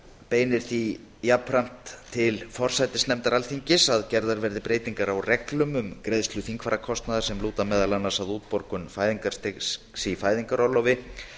beinir því til forsætisnefndar að gerðar verði breytingar á reglum um greiðslu þingfararkostnaðar sem lúta meðal annars að útborgun fæðingarstyrks í fæðingarorlofi